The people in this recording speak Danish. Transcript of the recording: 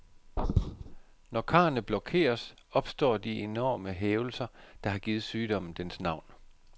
Når karrene blokeres, opstår de enorme hævelser, der har givet sygdommen dens navn.